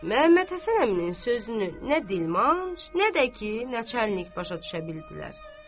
Məhəmməd Həsən əminin sözünü nə dilmanc, nə də ki, Neçə əliq başa düşə bildilər.